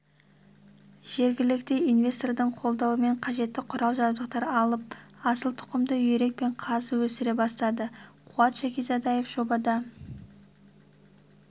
жергілікті инвестордың қолдауымен қажетті құрал-жабдықтар алып асыл тұқымды үйрек пен қаз өсіре бастады қуат шәкизадаев жоба